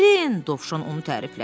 Dovşan onu təriflədi.